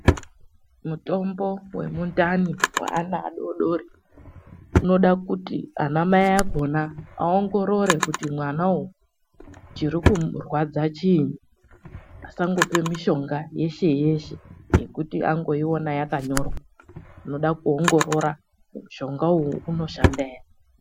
Mutombo wemundani waana adodori unode kuti anamai akhona atange ambohloya kuona kuti mutombo unowu unoita ere kupe ndumurwa uyezve kuti unoshande zvona izvozvo ere muntu asangopa asizi kufunda magama akanyorwepo.